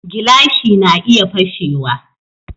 Gilashi na iya fashe wa